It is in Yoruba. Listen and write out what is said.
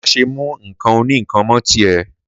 Mà sẹ mú ńkàn òníkan mọ tí ẹ!